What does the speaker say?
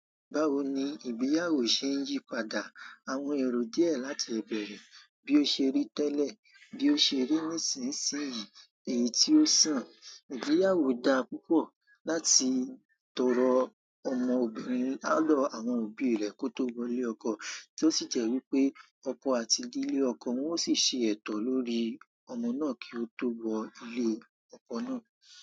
Báwo ni ìgbéyàwó ṣe ń yí padà àwọn èrò díẹ̀ láti ìbẹ̀rẹ̀ bí ó ṣe rí tẹ́lẹ̀ bí ó ṣe rí nísìnsìnyí èyí tí ó sàn. Ìgbéyàwó da púpọ̀ láti tọrọ ọmọbìnrin àlọ́ àwọn òbí rẹ̀ kó tó wọlé ọkọ, tí ó sì jẹ́ wípé ọkọ àti ìdílé ọkọ wọn ó sì ṣe ètò lórí ọmọ náà kí ó tó wọ ìdílé ọkọ náà.